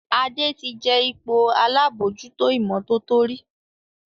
Ade tí jé ipò àlabòjuto imototo rí.